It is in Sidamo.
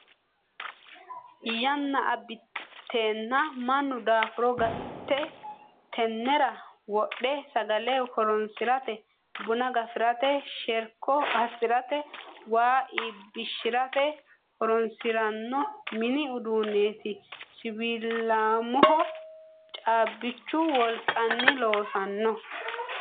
Yanna abbitenna mannu daafuro gate tenera wodhe sagale loosirate buna gafirate sherko assirate waa iibbishirate horonsirano mini uduuneti siwiilamoho caabbichu wolqanni loossano.